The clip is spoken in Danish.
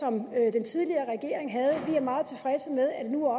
den tidligere regering havde vi er meget tilfredse med at det nu